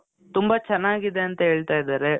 ತುಂಬ ಚನಾಗಿದೆ ಅಂತ ಹೇಳ್ತಾ ಇದಾರೆ.